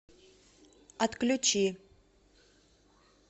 отключи